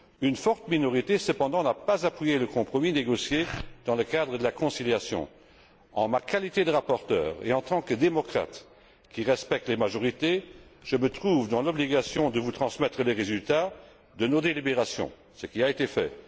Une forte minorité, cependant, n'a pas appuyé le compromis négocié dans le cadre de la conciliation. En ma qualité de rapporteur et en tant que démocrate qui respecte les majorités, je me trouve dans l'obligation de vous transmettre les résultats de nos délibérations, ce qui a été fait.